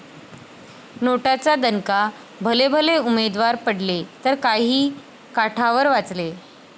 नोटा'चा दणका, भलेभले उमेदवार पडले तर काही काठावर वाचले!